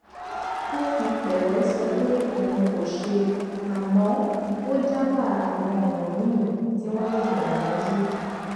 ó fi pẹlẹ sọ pé òun kò ṣe àmọ ó dábàá àwọn ọnà míì tí wọn lè gbà yanjú